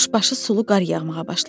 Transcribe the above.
Quşbaşı sulu qar yağmağa başladı.